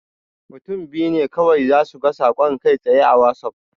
Mutum biyu ne kawai zasu ga saƙon kai-tsaye a Wazaf.